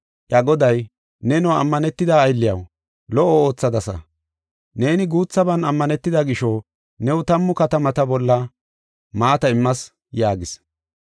“Iya Goday, ‘Neno ammanetida aylliyaw lo77o oothadasa. Neeni guuthaban ammanetida gisho new tammu katamata bolla maata immas’ yaagis.